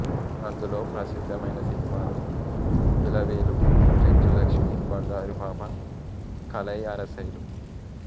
అందులో ప్రసిద్ధమైన సినిమాలు ఇలవేలుపు చెంచులక్ష్మీ బంగారుపాప కలైఅరసై లు